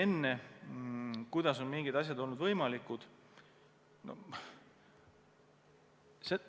Nüüd, kuidas on mingid asjad olnud võimalikud?